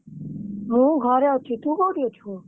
ମୁଁ ଘରେ ଅଛି ତୁ କୋଉଠି ଅଛୁ?